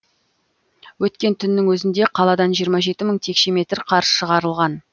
өткен түннің өзінде қаладан жиырма жеті мың текше метр қар шығарылған